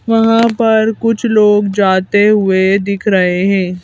वहां पर कुछ लोग जाते हुए दिख रहे हैं।